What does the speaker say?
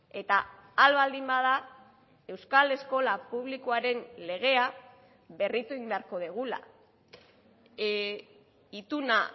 eta ahal baldin bada euskal eskola publikoaren legea berritu egin beharko dugula ituna